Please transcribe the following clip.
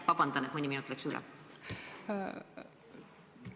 Vabandust, et mõni sekund läks üle!